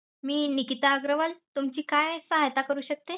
मी निकिता अगरवाल तुमची काय सहायता करू शकते?